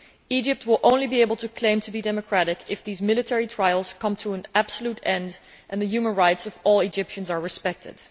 Egypt will only be able to claim to be democratic if these military trials come to an absolute end, and if the human rights of all Egyptians are respected.